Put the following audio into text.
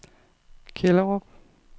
Kjellerup